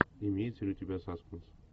имеется ли у тебя саспенс